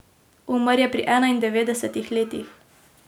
Umrl je pri enaindevetdesetih letih.